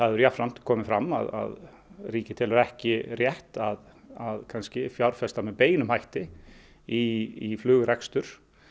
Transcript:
hefur jafnframt komið fram að ríkið telur ekki rétt að að fjárfesta með beinum hætti í flugrekstri